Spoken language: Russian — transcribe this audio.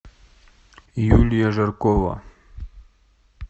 юлия жаркова